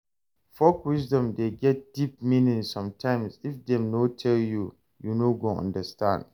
Folk wisdom de get deep meaning sometimes if dem no tell you, you no go understand